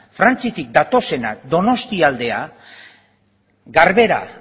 frantziatik datozenak donostialdera garbera